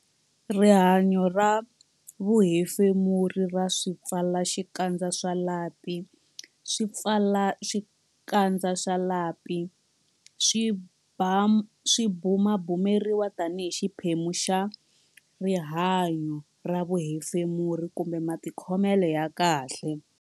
Rihanyo ra vuhefemuri ra swipfalaxikandza swa lapi Swipfalaxikandza swa lapi swi bumabumeriwa tanihi xiphemu xa rihanyo ra vuhefemuri kumbe matikhomelo ya kahle.